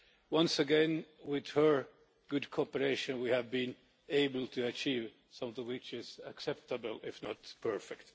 Once again with her good cooperation we have been able to achieve something which is acceptable, if not perfect.